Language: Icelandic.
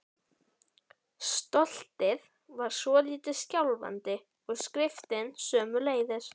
Kveikti í tundrinu og neistarnir átu sig upp eftir kveiknum.